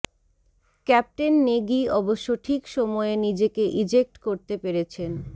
captain Negi অবশ্য ঠিক সময়ে নিজেকে ইজেক্ট করতে পেরেছেন